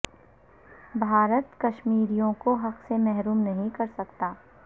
بھارت کشمیریوں کو حق سے محروم نہیں کر سکتا